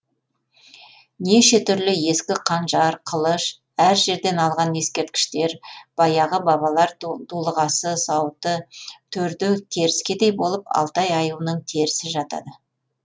неше түрлі ескі қанжар қылыш әр жерден алған ескерткіштер баяғы бабалар дулығасы сауыты төрде керіскедей болып алтай аюының терісі жатады